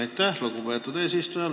Aitäh, lugupeetud eesistuja!